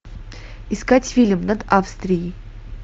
искать фильм над австрией